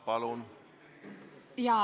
Palun!